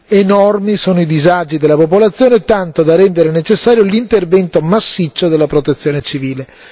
Enormi sono i disagi della popolazione, tanto da rendere necessario l'intervento massiccio della protezione civile.